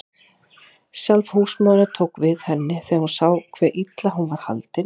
Sjálf húsmóðirin tók við henni þegar hún sá hve illa hún var haldin.